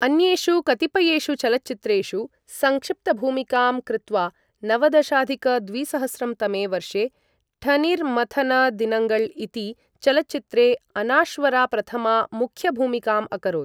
अन्येषु कतिपयेषु चलच्चित्रेषु संक्षिप्तभूमिकां कृत्वा नवदशाधिक द्विसहस्रं तमे वर्षे 'ठनीर मथन दिनङ्गल' इति चलच्चित्रे अनाश्वरा प्रथमा मुख्यभूमिकाम् अकरोत् ।